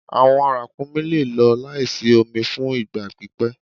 Awọn rakúmí le lọ laísí omi fún ìgba pípẹ̀